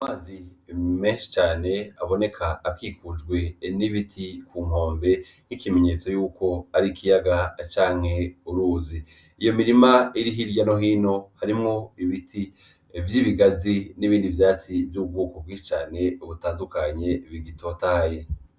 Amazi menshi cane aboneka akikujwe n'ibiti kunkombe nkikimenyetso yuko ari ikiyaga canke uruzi iyo mirima iri hirya no hino irimwo ibiti vy'ibigazi nibindi vyatsi vy'ubwoko bwinshi cane bitandukanye bitotahaye.